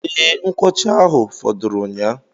Ee, nkwuọcha ahụ fọdụrụ ụnyaahụ